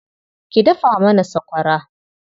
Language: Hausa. Ki dafa mana sakwara.